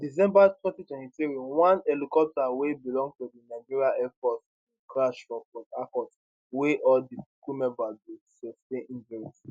for december 2023 one helicopter wey belong to di nigerian air force bin crash for port harcourt wia all di crew members bin sustain injuries